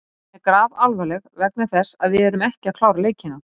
Staðan er grafalvarleg vegna þess að við erum ekki að klára leikina.